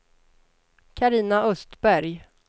Carina Östberg